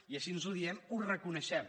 i així ho diem ho reconeixem